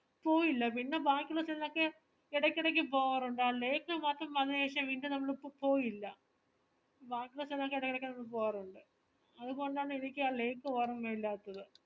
പോയില്ല പിന്ന ബാക്കിവച്ചതിനൊക്കെ എഡെക്കെടേക്ക് പോവാറുണ്ട് ആ lake മാത്രം അതിന് ശേഷം പിന്ന നമ്മൾ പോ പോയില്ല ബാക്കിള്ള സ്ഥലോക്കെ എഡെക്കെടേക്ക് പോവാറുണ്ട് അതുകൊണ്ടാണ് എനിക്ക് ആ lake ഓർമ ഇല്ലാത്തത്